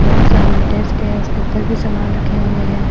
यहाँ सामने डेस्क है उसके ऊपर भी सामान रखे हुए है।